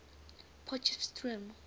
potchefstroom